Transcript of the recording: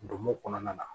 Donmo kɔnɔna na